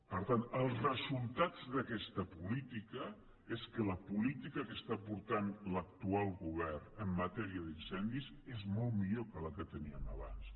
per tant els resultats d’aquesta política és que la política que està portant l’actual govern en matèria d’incendis és molt millor que la que teníem abans